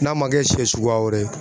N'a ma kɛ sɛ suguya wɛrɛ ye